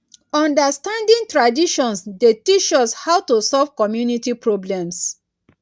understanding traditions dey teach us how to solve community problems.